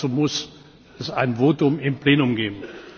Dazu muss es ein Votum im Plenum geben.